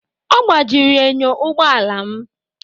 Ọ gbajiri enyo ụgbọ ala m